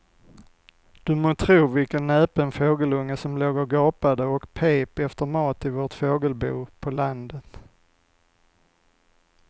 Du må tro vilken näpen fågelunge som låg och gapade och pep efter mat i vårt fågelbo på landet.